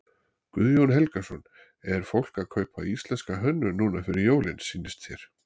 Guðjón Helgason: Er fólk að kaupa íslenska hönnun núna fyrir jólin sýnist þér?